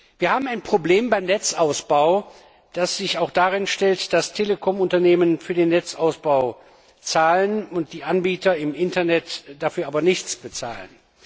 Wir haben ein Problem beim Netzausbau, das auch daraus resultiert, dass Telekom Unternehmen für den Netzausbau zahlen, die Anbieter im Internet dafür aber nichts bezahlen.